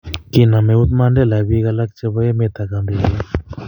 kinam eut Mandela biik alak chebo emet ak kandoik alak